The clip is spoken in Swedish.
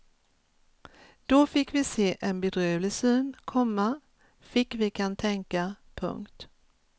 Då fick vi se en bedrövlig syn, komma fick vi kantänka. punkt